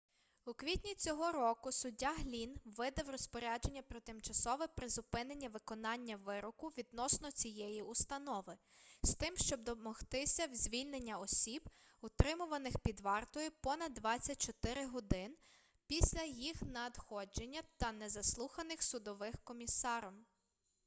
у квітні цього року суддя глінн видав розпорядження про тимчасове призупинення виконання вироку відносно цієї установи з тим щоб домогтися звільнення осіб утримуваних під вартою понад 24 годин після їх надходження та не заслуханих судовим комісаром